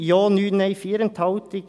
3 Ja, 9 Nein, 4 Enthaltungen.